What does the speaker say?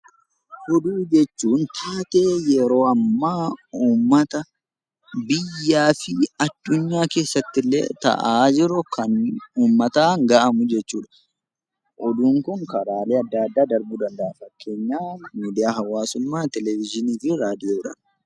Oduu jechuun taatee yeroo ammaa uummata, biyyaa fi addunyaa keessatti ta'aa jiru kan uummataan gahamu jechuudha. Oduun Kun karaalee adda addaa daddarbuu danda'a fakkeenyaaf miidiyaa hawaasummaa, televezyiinii fi raadiyoodhaan